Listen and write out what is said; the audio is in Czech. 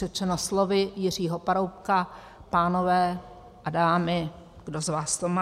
Řečeno slovy Jiřího Paroubka: pánové a dámy, kdo z vás to má?